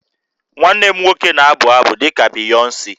Nwanne m nwoke na-abụ abụ dị ka Beyonce